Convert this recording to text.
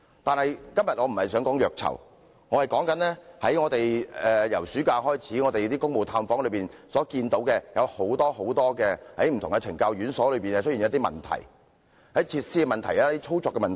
不過，我今天不想談虐囚，而要說說自暑假以來，我們在公務探訪中看到很多不同懲教院所裏的一些問題，包括設施及操作的問題。